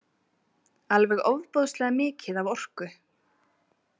Alveg ofboðslega mikið af orku.